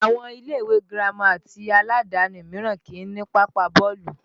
Àwọn ilé ìwé girama ti aládàáni míràn kìí ní pápá bọ́ọ̀lù